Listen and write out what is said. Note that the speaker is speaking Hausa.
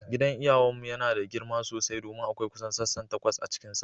Gidan iyawan mu yana da girma sosai domin akwai kusan sassan takwas a cikinsa.